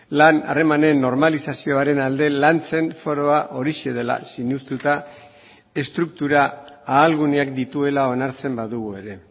lan harremanen normalizazioaren alde lantzen foroa horixe dela sinestuta estruktura ahalguneak dituela onartzen badugu ere